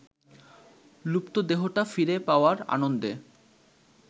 লুপ্তদেহটা ফিরে পাওয়ার আনন্দে